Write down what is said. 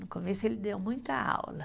No começo, ele deu muita aula.